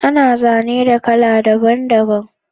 Ana zane da kala daban daban